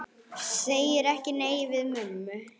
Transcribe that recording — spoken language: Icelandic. Segir ekki nei við mömmu!